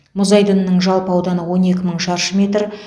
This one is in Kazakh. мұз айдынының жалпы ауданы он екі мың шаршы метр